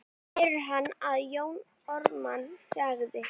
heyrði hann að Jón Ármann sagði.